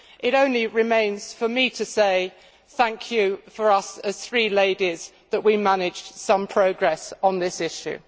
It only remains for me to say, thank you, for us as three ladies, that we managed some progress on this issue.